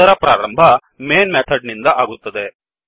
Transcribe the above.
ಅದರ ಪ್ರಾರಂಭ main method ನಿಂದ ಆಗುತ್ತದೆ